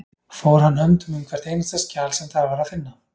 Fór hann höndum um hvert einasta skjal sem þar var að finna.